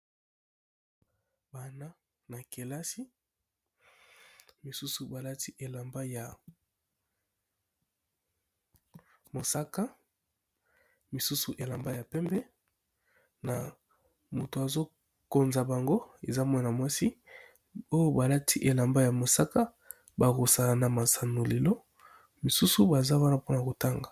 Bana ya kelasi basusu balati bilamba ya mosaka misusu elamba pembe na moto azo koza bango eza Mwana mwasi oyo balati elamba ya mosaka basokosa na masanoli na bango misusu baza wana po na kotanga.